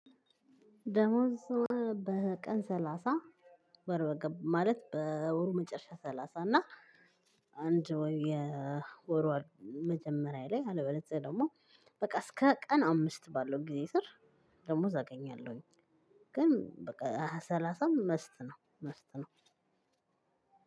ደሞዝ በቀን ሰላሳ ወር በገባ ማለት በወሩ መጨረሻ ሰላሳ እና አንድ ወይ የወሯ መጀመሪያ ላይ አለበለዛ ደግሞ በቃ እስከ ቀን አምስት ባለው ጊዜ ስር ደሞዝ አገኛለሁኝ። ግን በቃ ሰላሳ መስት ነው መስት መስት ነው።